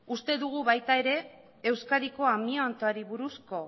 uste dugu baita ere euskadiko amiantoari buruzko